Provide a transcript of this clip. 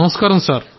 నమస్కారం సార్